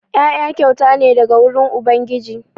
Ƴaƴa kyauta ne daga wurin ubangiji.